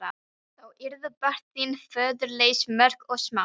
Þá yrðu börn þín föðurlaus mörg og smá.